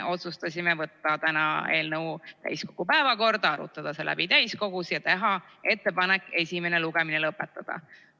Otsustasime võtta eelnõu täiskogu päevakorda 10. märtsi istungiks, arutada see siin läbi ja teha ettepanek esimene lugemine lõpetada.